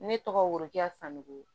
Ne tɔgɔ worokɛ sanuku